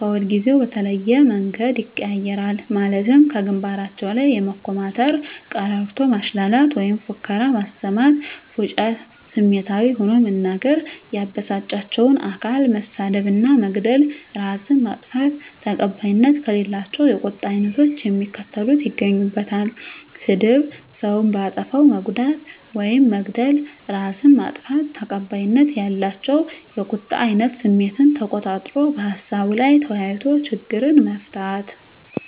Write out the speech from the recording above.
ከሁልጊዜው በተለየ መንገድ ይቀያየራል ማለትም ከግንባራቸው ላይ የመኮማተር፤ ቀረርቶ ማሽላላት ወይም ፉከራ ማሰማት፤ ፉጭታ፤ ስሜታዊ ሆኖ መናገር፤ ያበሳጫቸውን አካል መሳደብ እና መግደል፤ እራስን ማጥፋት። ተቀባይነት ከሌላቸው የቁጣ አይነቶች የሚከተሉት ይገኙበታል -ስድብ፤ ሰውን በአጠፋው መጉዳት ውይም መግደል፤ እራስን ማጥፋት። ተቀባይነት ያላቸው የቁጣ አይነት ስሜትን ተቆጣጥሮ በሀሳቡ ላይ ተወያይቶ ችግርን መፍታት።